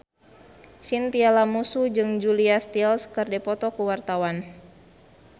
Chintya Lamusu jeung Julia Stiles keur dipoto ku wartawan